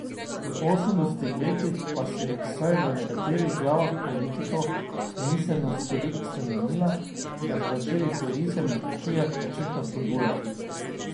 V osemdesetih letih pa se je vsaj v nekaterih glavah politikov miselnost toliko spremenila, da so začeli turizem na kmetijah načrtno spodbujati.